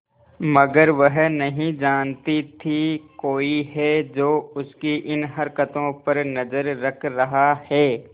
मगर वह नहीं जानती थी कोई है जो उसकी इन हरकतों पर नजर रख रहा है